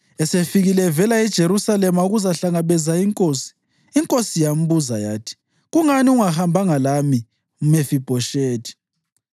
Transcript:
Esefikile evela eJerusalema ukuzahlangabeza inkosi, inkosi yambuza yathi, “Kungani ungahambanga lami, Mefibhoshethi?”